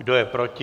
Kdo je proti?